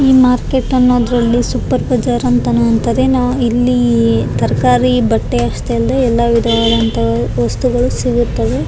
ಈ ಮಾರ್ಕೇಟ್ ಅನ್ನ ಅದ್ರಲ್ಲು ಸೂಪರ್ ಬಝಾರ್ ಅಂತಾನು ಅಂತದೆ ಇಲ್ಲಿ ತರ್ಕಾರಿ ಬಟ್ಟೆ ಅಷ್ಟೆ ಅಲ್ದೆ ಎಲ್ಲ ವಿಧಗಳಂತ ವಸ್ತುಗಳು ಸಿಗುತ್ತವೆ .